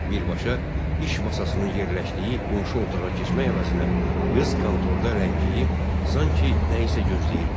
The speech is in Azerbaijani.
Birbaşa iş masasının yerləşdiyi qonşu otağa keçmək əvəzinə qız kontorda ləngiyib, sanki nəyisə gözləyirdi.